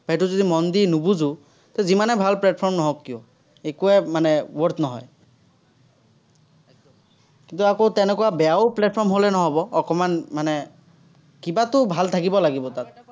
সেইটো যদি মন দি নুবুজো, তো যিমানে ভাল platform নহওক কিয়, একোৱে মানে worth নহয়। কিন্তু, আকৌ তেনেকুৱা বেয়াও platform হ'লে নহ'ব, অকণমান মানে কিবাতো ভাল থাকিব লাগিব তাত।